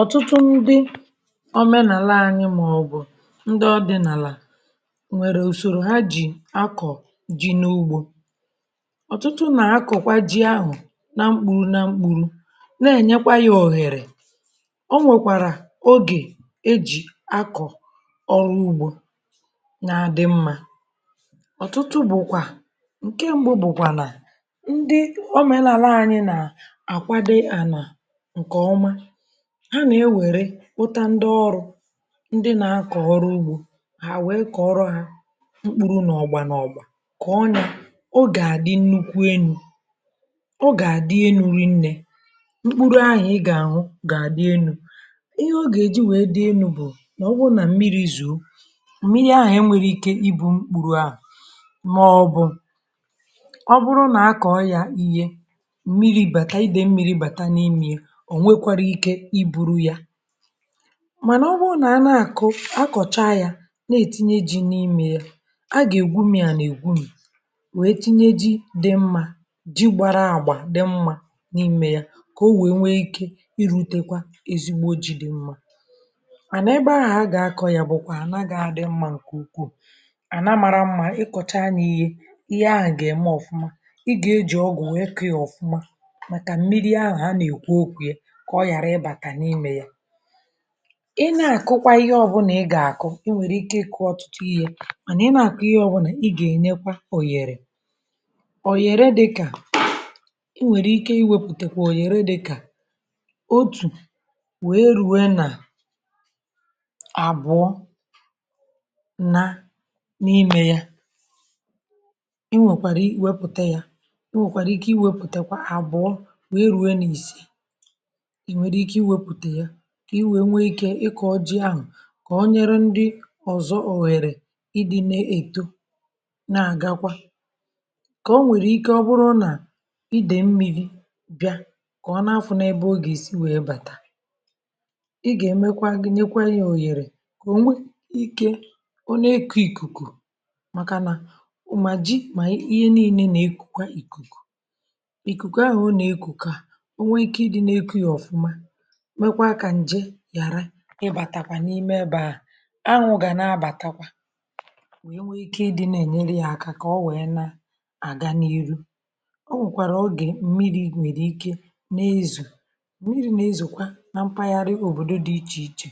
ọ̀tụtụ ndi omenàla anyị màọ̀bụ̀ ndị ọ di nàlà ò nwèrè ùsòrò ha ji̇ akọ̀ ji̇ n’ugbȯ um ọ̀tụtụ nà akọ̀kwa ji ahụ̀ na mkpuru na mkpuru na-ènyekwa ya òhèrè ọ nwèkwàrà ogè ejì akọ̀ ọrụ ugbȯ na-adɪ̀ mmȧ ọ̀tụtụ bụ̀kwà ǹke mbụ bụ̀kwà nà ndi omenàla anyị nà àkwado ànà ǹkè ọma ha nà-ewèrè kpụtà ndị ọrụ̇ ndị nà-akọ̀ọrọ ugbȯ hà wèe kọ̀ọrọ hȧ mkpụrụ nà ọ̀gbà nà ọ̀gbà kà ọ nà o gà-àdị nnukwu enu̇ um o gà-àdị enu̇ rinnė mkpụrụ ahụ̀ ị gà-anwụ̇ gà-àdị enu̇ ihe o gà-èji we dị enu̇ bụ̀ nà ọ wụ nà mmiri̇ zuò m̀miri̇ ahụ̀ enwere ike ibu̇ mkpụrụ̇ ahụ̀ màọbụ̀ ọ bụrụ nà a kọ̀ọ ya ihe mmiri̇ bàta idèi mmiri̇ bàta n’imie mànà ọ bụrụ nà a nà-àkụ akọ̀cha yȧ na-ètinye ji n’imė ya a gà-ègwumi̇ a nà-ègwumi̇ wèe tinye ji dị mmȧ ji gbara àgba dị mmȧ n’imė ya kà o wèe nwee ikė irutekwa ezigbo ji dị mmȧ um à nà ebe ahụ̀ a gà-akọ̇ yà bụ̀kwà ànaghȧ dị mmȧ ǹkè ukwuù ànà amara mmȧ ị kọ̀cha anya ihe ihe ahụ̀ gà-ème ọ̀fụma ị gà-eji ọgwụ̀ wee kọ̀ ya ọ̀fụma màkà mmiri ahụ̀ ha nà-èkwu okwu yȧ i ne-àkụkwa ihe ọbụlà i gà-àkụ i nwèrè ike ị kụọ ọtụtụ ihe mànà i nà-àkụ ihe ọbụlà i gà-ènyekwa oghere oghere dịkà i nwèrè ike iwepùtèkwà oghere dịkà otù wee rue nà àbụọ nna n’imė ya i nwekwàrà i wepùtè ya i nwèkwàrà ike iwepùtèkwa àbụọ wee rue n’isi i wee nwe ike ịkọ̀ ọ jị ahụ̀ kà o nyere ndị ọ̀zọ òwèrè ịdị̇ na-èto na-àgakwa kà o nwèrè ike ọ bụrụ nà idèmmi̇ bịa kà ọ na-afụ̇ n’ebe o gèsi wee bàtà ị gà-èmekwa gị nyekwa yȧ òyèrè kà ò nwe ike o n’ekȯ ìkùkù um màkà nà mà ji mà ihe niine nà-ekùkù ị̀kụ̀kụ ìkùkù ahụ̀ ọ nà-ekùkù à o nwe ike ịdị̇ na-eku yȧ ọ̀fụma ịbàtakwà n’ime ebe à ahụ̀ gà nà-abàtakwà wee nwee ike ịdị̇ na-enyere yà aka kà ọ wee nà àga n’ihu ọ nwèkwàrà ogè mmiri̇ nwèrè ike n’ezù mmiri̇ na-ezùkwa na mpaghara òbòdo dị̇ ichè ichè